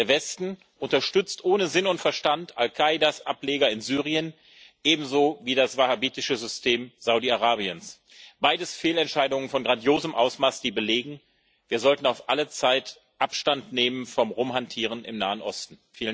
Der Westen unterstützt ohne Sinn und Verstand Al Qaidas Ableger in Syrien, ebenso wie das wahabitische System Saudi Arabiens beides Fehlentscheidungen von grandiosem Ausmaß, die belegen Wir sollten auf alle Zeit Abstand nehmen vom Rumhantieren im Nahen Osten.